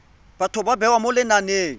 batho ba bewa mo lenaneng